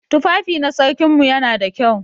Tufafi na sarkin mu yana da kyau.